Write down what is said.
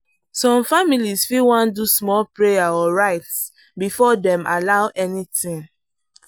some families fit wan do small prayer or rites before dem allow anything.